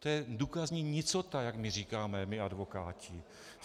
To je důkazní nicota, jak my říkáme, my advokáti.